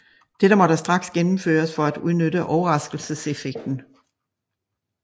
Dette måtte straks gennemføres for at udnytte overraskelseseffekten